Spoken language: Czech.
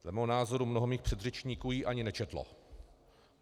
Dle mého názoru mnoho mých předřečníků ji ani nečetlo.